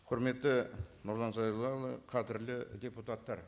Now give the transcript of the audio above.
құрметті нұрлан зайроллаұлы қадірлі депутаттар